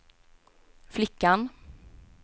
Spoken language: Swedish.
flickan